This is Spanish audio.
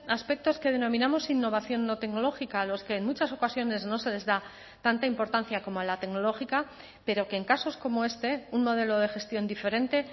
aspectos que denominamos innovación no tecnológica a los que en muchas ocasiones no se les da tanta importancia como la tecnológica pero que en casos como este un modelo de gestión diferente